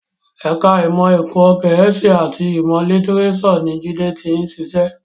Ẹ̀ka ìmọ̀ ẹ̀kọ́ Gẹ̀ẹ́sì àti ìmọ̀ lítíréṣọ̀ ni Jide ti ń ṣiṣẹ́